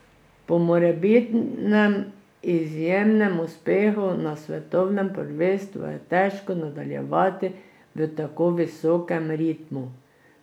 Po morebitnem izjemnem uspehu na svetovnem prvenstvu je težko nadaljevati v tako visokem ritmu.